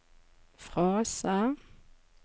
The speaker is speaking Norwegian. frase